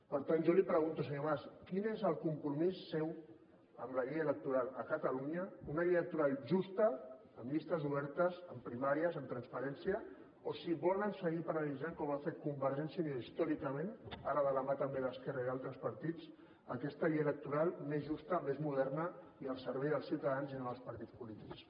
per tant jo li pregunto senyor mas quin és el compromís seu amb la llei electoral a catalunya una llei electoral justa llistes obertes primàries amb transparència o si volen seguir paralitzant com ha fet convergència i unió històricament ara de la mà també d’esquerra i d’altres partits aquesta llei electoral més justa més moderna i al servei dels ciutadans i no dels partits polítics